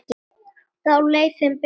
Þá leið þeim betur